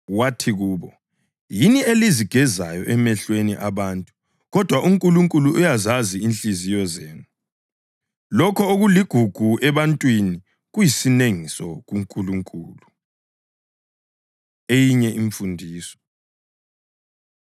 Wathi kubo, “Yini elizigezayo emehlweni abantu kodwa uNkulunkulu uyazazi inhliziyo zenu. Lokho okuligugu ebantwini kuyisinengiso kuNkulunkulu.” Eyinye Imfundiso